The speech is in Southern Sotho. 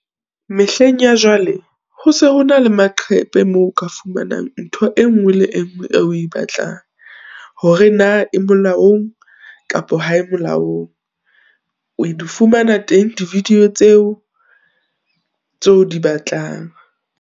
Mehleng ya jwale, ho se ho na le maqhepe moo o ka fumanang ntho e nngwe le engwe o e batlang. Hore na e molaong, kapa ha e molaong, o di fumana teng di-video tseo, tseo di batlang.